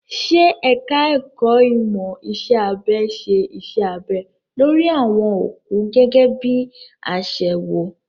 Ṣé ẹ̀ka ẹ̀kó ìmọ̀ iṣẹ́ abẹ ṣe iṣẹ́ abẹ lórí àwọn òkú gẹ́gẹ́ bí i àṣewò?